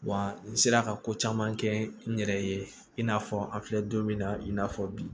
Wa n sera ka ko caman kɛ n yɛrɛ ye i n'a fɔ an filɛ don min na i n'a fɔ bi